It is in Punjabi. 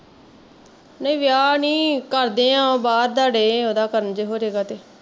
ਨਹੀਂ ਵੀਆਹ ਨੀ ਕਰਦੇ ਆ ਬਾਹਰ ਦਾ ਡਏ ਆ ਉਹਦਾ ਕਰਨ ਜੇ ਹੋਜੇਗਾ ਤੇ